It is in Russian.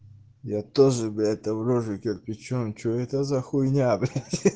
я тоже блять там рожу кирпичом что это за хуйня блять